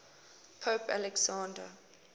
pope alexander